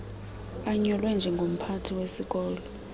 anyulwe njengomphathi wesikolo